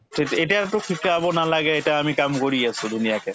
তেতি‍ এতিয়াতো শিকাব নালাগে এতিয়া আমি কাম কৰি আছো ধুনীয়াকে